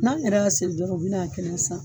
N'an yɛrɛ y'a siri dɔgɔ u bi n'a kɛnɛ san.